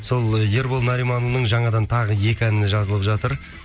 сол ербол нариманұлының жаңадан тағы екі әніне жазылып жатыр